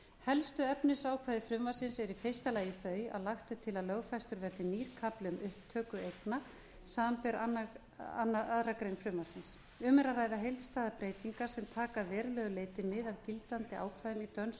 helstu efnisákvæði frumvarpsins eru í fyrsta lagi þau að lagt er til að lögfestur verði nýr kafli um upptöku eigna samanber aðra grein frumvarpsins um er að ræða heildstæðar breytingar sem taka að verulegu leyti mið af gildandi ákvæðum í dönsku og norsku